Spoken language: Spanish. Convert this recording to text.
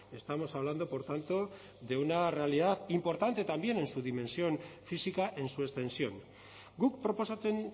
estamos hablando por tanto de una realidad importante también en su dimensión física en su extensión guk proposatzen